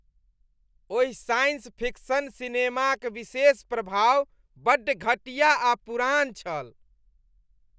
ओहि science fiction सिनेमाक विशेष प्रभाव बड्ड घटिया आ पुरान छल।